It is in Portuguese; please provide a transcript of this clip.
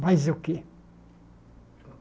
Mas o quê?